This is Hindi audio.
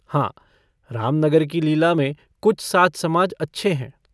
हाँ रामनगर की लीला में कुछ साज-समाज अच्छे हैं।